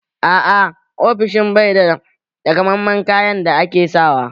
A'a, ofishin bai da takamammen kayan da ake sawa